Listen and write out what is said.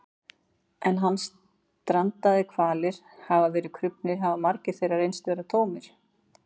en þegar strandaðir hvalir hafa verið krufnir hafa magar þeirra reynst vera tómir